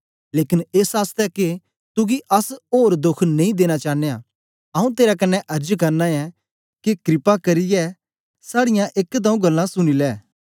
लेकन एस आसतै के तुगी अस ओर दोख नेई देना चानयां आंऊँ तेरे कन्ने अर्ज करना ऐं के कृपा करियै साड़ीयां दो एक गल्लां सुनी लै